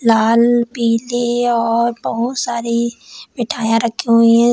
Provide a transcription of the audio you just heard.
लाल पीली और बहुत सारी मिठाइयां रखी हुई हैं इस--